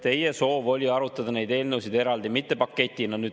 Teie soov oli arutada neid eelnõusid eraldi, mitte paketina.